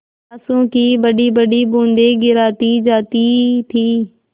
आँसू की बड़ीबड़ी बूँदें गिराती जाती थी